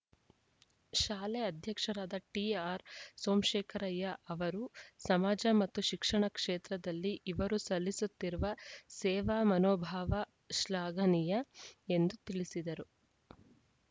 ಶಾಲೆ ಅಧ್ಯಕ್ಷರಾದ ಟಿಆರ್‌ ಸೋಮಶೇಖರಯ್ಯ ಅವರು ಸಮಾಜ ಮತ್ತು ಶಿಕ್ಷಣ ಕ್ಷೇತ್ರದಲ್ಲಿ ಇವರು ಸಲ್ಲಿಸುತ್ತಿರುವ ಸೇವಾ ಮನೋಭಾವ ಶ್ಲಾಘನೀಯ ಎಂದು ತಿಳಿಸಿದರು